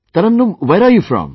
Tarannum, where are you from